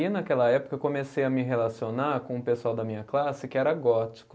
E naquela época eu comecei a me relacionar com o pessoal da minha classe que era gótico.